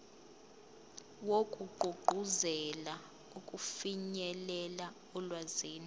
wokugqugquzela ukufinyelela olwazini